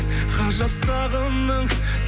ғажап сағымның